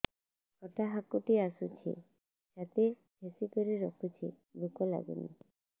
ଖଟା ହାକୁଟି ଆସୁଛି ଛାତି ଠେସିକରି ରଖୁଛି ଭୁକ ଲାଗୁନି